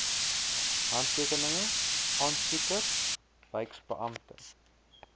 handtekeninge aansoeker wyksbeampte